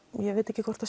ég veit ekki að